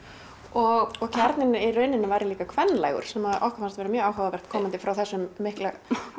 og og kjarninn væri líka sem okkur fannst mjög áhugavert komandi frá þessum mikla